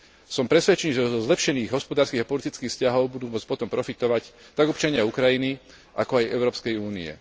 Som presvedčený, že zo zlepšených hospodárskych a politických vzťahov budú môcť potom profitovať tak občania Ukrajiny, ako aj Európskej únie.